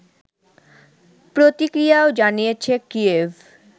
প্রতিক্রিয়াও জানিয়েছে কিয়েভ